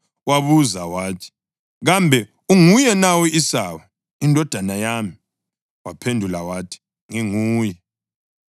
Wabuza wathi, “Kambe unguye na u-Esawu indodana yami?” Waphendula wathi, “Nginguye.”